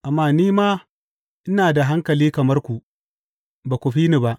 Amma ni ma ina da hankali kamar ku; ba ku fi ni ba.